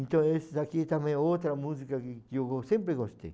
Então, essa aqui também é outra música que que eu sempre gostei.